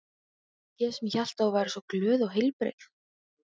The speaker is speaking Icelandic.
Ég sem hélt að þú væri svo glöð og heilbrigð.